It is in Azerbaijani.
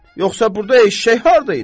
Yoxsa burda eşşək harda idi?